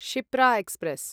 Shipra express